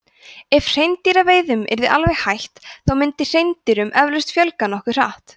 ef hreindýraveiðum yrði alveg hætt þá myndi hreindýrum eflaust fjölga nokkuð hratt